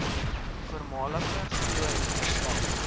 voormalige glorie herstel